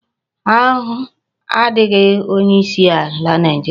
Ahu adighi onye isi ala Naijiria